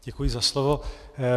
Děkuji za slovo.